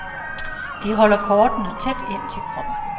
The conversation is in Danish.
De holder kortene tæt ind til kroppen.